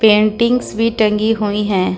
Paintings भी टंगी हुई है।